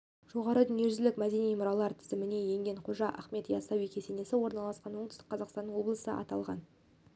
жоғары дүниежүзілік мәдени мұралар тізіміне енген қожа ахмет ясауи кесенесі орналасқан оңтүстік қазақстан облысы аталған